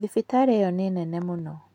Thibitarĩ ĩyo nĩ nene mũno.